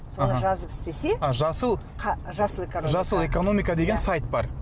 аха жазып істесе а жасыл жасыл жасыл экономика деген сайт бар